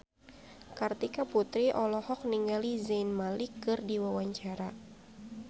Kartika Putri olohok ningali Zayn Malik keur diwawancara